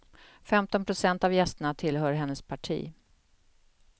Femton procent av gästerna tillhör hennes parti.